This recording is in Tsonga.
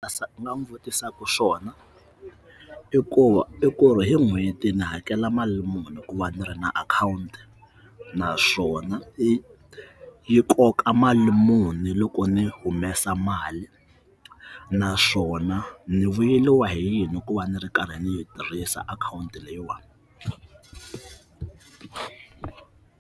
Ndzi nga n'wi vutisaka xona i ku va i ku ri hi n'hweti ni hakela mali muni ku va ndzi ri na akhawunti naswona yi yi koka mali muni ndzi loko ndzi humesa mali naswona ndzi vuyeriwa hi yini ku va ndzi ri karhi ndzi yi tirhisa akhawunti leyiwani.